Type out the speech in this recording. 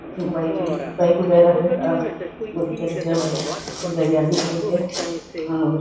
Bike की भी bike वगैरा है। अ बहोत अच्छा दिख रहा है बाइक बाइक है और --